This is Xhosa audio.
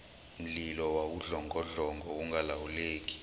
mlilo wawudlongodlongo ungalawuleki